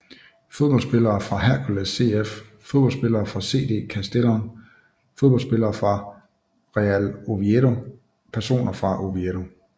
Fodboldspillere fra Hércules CF Fodboldspillere fra CD Castellón Fodboldspillere fra Real Oviedo Personer fra Oviedo